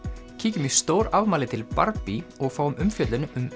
kíkjum í stórafmæli til og fáum umfjöllun um